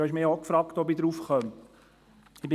Sie haben mich gefragt, ob ich daraufgekommen bin.